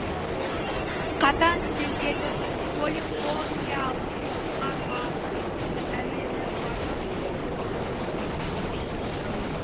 қатаң стильдегі полифониялық шығарманың әуені баяу